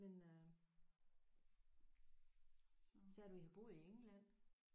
Men øh sagde du I havde boet i England?